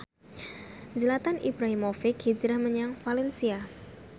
Zlatan Ibrahimovic hijrah menyang valencia